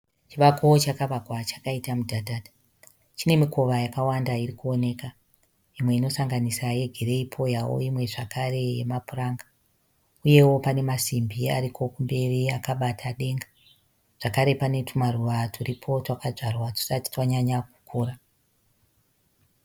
Chivako chakavakwa chakaita mudhadha, chine mikova yakawanda iri kuoneka. Mimwe inosanganisa yegireyi pouyawo imwe zvakare yemapuranga uyewo pane masimbi ariko kumberi akabata denga. Zvakare pane tumaruva turipo twakadzvarwa tusati twanyanya kukura.